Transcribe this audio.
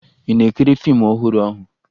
Ị na-ekiri fiimu ọhụrụ ahụ?